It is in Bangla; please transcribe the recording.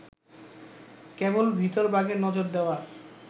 কেবল ভিতরবাগে নজর দেওয়ার